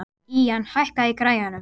Ían, lækkaðu í græjunum.